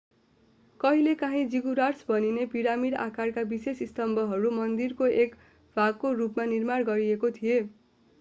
कहिलेकाँही जिगुराट्स भनिने पिरामिड आकारका विशेष स्तम्भहरू मन्दिरहरूको एक भागको रूपमा निर्माण गरिएको थियो